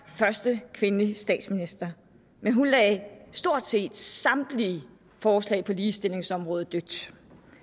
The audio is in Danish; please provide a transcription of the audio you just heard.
første kvindelige statsminister men hun lagde stort set samtlige forslag på ligestillingsområdet